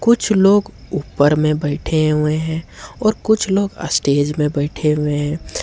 कुछ लोग ऊपर में बैठे हुए हैं और कुछ लोग स्टेज में बैठे हुए हैं।